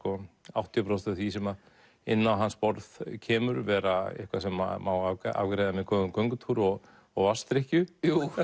áttatíu prósent af því sem inn á hans borð kemur vera eitthvað sem má afgreiða með góðum göngutúr og og vatnsdrykkju